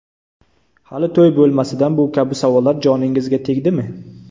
Hali to‘y bo‘lmasidan bu kabi savollar joningizga tegdimi?